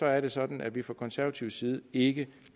er det sådan at vi fra konservativ side ikke